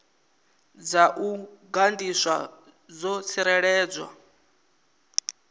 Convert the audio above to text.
dza u gandiswa dzo tsireledzwa